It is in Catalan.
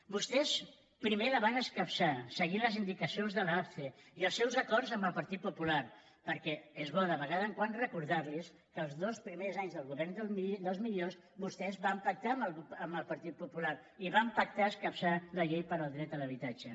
vostès primer la van escapçar seguint les indicacions de l’apce i els seus acords amb el partit popular perquè és bo de tant en tant recordarlos que els dos primers anys del govern dels millors vostès van pactar amb el partit popular i van pactar escapçar la llei del dret a l’habitatge